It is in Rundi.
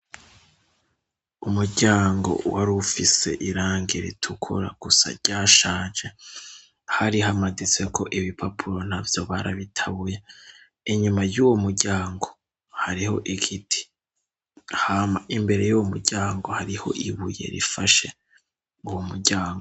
Umuryango w ari ufise irange ritukura gusa rya shaje hari hamaditseko ibi papulo na vyo barabitabuye inyuma y'uwo muryango hariho igiti hama imbere y'uwo muryango hariho ibuye rifashe uwo muryango.